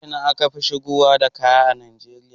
Ta Ina akafi shigowa da kaya ƙasar Nigeria